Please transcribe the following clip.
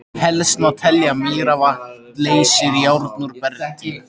Helst má telja að mýravatn leysir járn úr bergi.